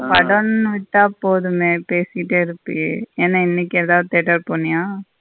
படன்னு விட்ட போதுமே பேசிட்டே இருப்பியே என்ன இனிக்கு எதாவது theatre போனியா.